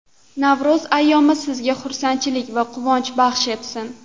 Navro‘z ayyomi sizga xursandchilik va quvonch baxsh etsin.